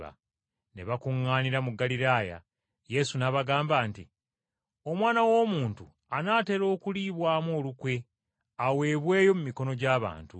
Ne bakuŋŋaanira mu Ggaliraaya, Yesu n’abagamba nti, “Omwana w’Omuntu anaatera okuliibwamu olukwe aweebweyo mu mikono gy’abantu